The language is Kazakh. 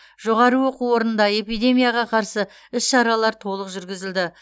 жоғары оқу орнында эпидемияға қарсы іс шаралар толық жүргізілді